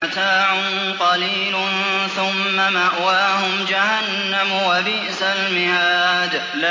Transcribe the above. مَتَاعٌ قَلِيلٌ ثُمَّ مَأْوَاهُمْ جَهَنَّمُ ۚ وَبِئْسَ الْمِهَادُ